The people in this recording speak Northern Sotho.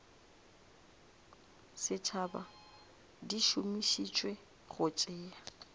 setšhaba di šomišetšwa go tšea